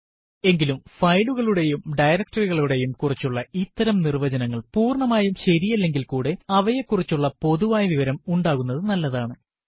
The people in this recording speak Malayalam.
എങ്കിലും ഫയലുകളെയും ഡയറക്ടറി കളെയും കുറിച്ചുള്ള ഇത്തരം നിർവ്വചനങ്ങൾ പൂർണമായും ശരിയല്ലെങ്കിൽ കൂടെ അവയെ കുറിച്ചുള്ള പൊതുവായ വിവരം ഉണ്ടാകുന്നതു നല്ലതാണ്